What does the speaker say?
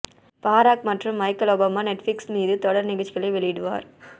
பராக் மற்றும் Michelle Obama Netflix மீது தொடர் நிகழ்ச்சிகளை வெளியிடுவர்